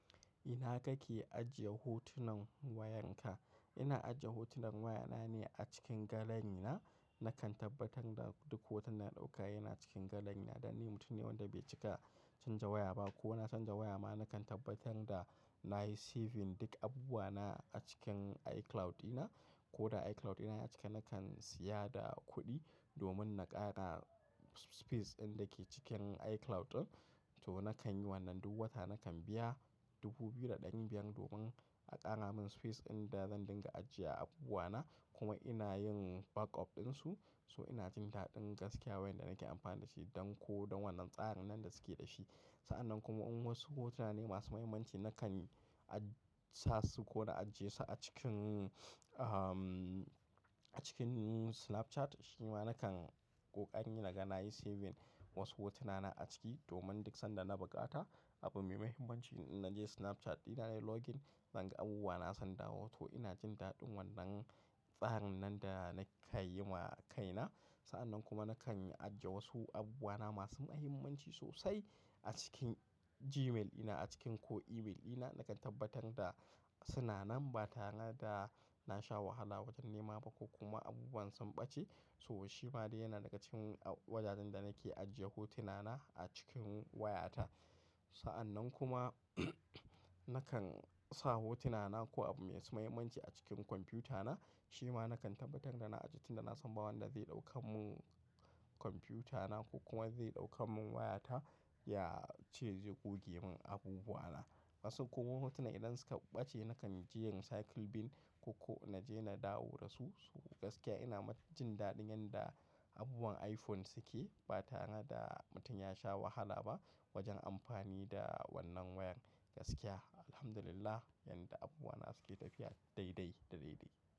Ina kake ajiye hotunan wayanka? Ina ajiye hotunan wayana ne a cikin galari na. Nakan tabbatar da duk hoton da na ɗauka yana cikin galari na dan ni mutum ne wanda bai cika canza waya ba. Ko na canza waya ma nakan tabbatar da nayi saving duk abubuwa na a cikin iCloud dina. Ko da iCloud dina a cike nakan siyada kuɗi domin na ƙara space ɗin da ke cikin iCloud ɗin. To nakan yi wannan duk wata nakan biya dubu biyu da ɗari biyar domin a ƙara min space ɗin da zan dinga ajiye abubuwa na kuma ina yin backup ɗinsu. So ina jin daɗin gaskiya wayar da nake amfani da shi don ko don wannan tsarin nan da suke da shi. Sa'annan kuma in wasu hotuna ne masu mahimmanci nakan aj sasu ko na ajiye su a cikin, ah, a cikin Snapchat. Shi ma nakan ƙoƙari naga nayi saving wasu hotuna na a ciki domin duk sanda na buƙata abu mai mahimmanci naje Snapchat ɗina nayi login naga abubuwa na sun dawo. To ina jin daɗin wannan tsarin nan da na kayyima kaina. Sa'annan kuma nakan ajiye wasu abubuwa na masu mahimmanci sosai a cikin Gmail ina a cikin ko email ina. Nakan tabbatar da suna nan ba tare da na sha wahala wajen nema ba ko kuma abubuwan sun ɓace. So shi ma dai yana daga cikin a wajajen da nake ajiye hotuna na a cikin wayata. Sa'annan kuma nakan sa hotuna na ko abu mai su muhimmanci a cikin kwamfiyuta na. Shi ma nakan tabbatar da na ajiye tun da na san ba wanda zai ɗaukan mun kwamfiyuta na ko kuma zai ɗaukan mun wayata ya ce zai goge mun abubuwa na. Wasu kuma hotunan idan suka ɓace nakan je recycle bin ko, ko naje na dawo da su. So gaskiya ma ina jin daɗin yanda abubuwan iPhone suke ba tare da mutum ya sha wahala ba wajen amfani da wannan wayan gaskiya. Alhamdulillah, yanda abubuwa na suke tafiya daidai daidai.